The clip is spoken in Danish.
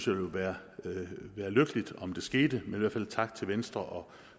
ville være lykkeligt om det skete men i hvert fald tak til venstre og